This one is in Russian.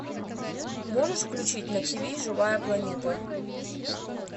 можешь включить на тв живая планета